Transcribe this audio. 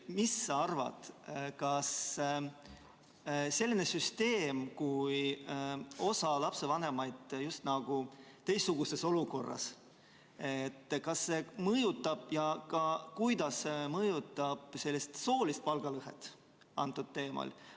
Mis sa arvad, kuidas selline süsteem, mille korral osa lapsevanemaid on just nagu teistsuguses olukorras, mõjutab soolist palgalõhet?